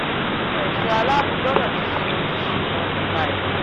àwọn ẹ̀ṣọ́ aláàbọ̀ gbogbo ti ń ṣe ojúṣe wọn nípa ẹ̀